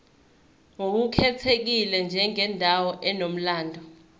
ngokukhethekile njengendawo enomlando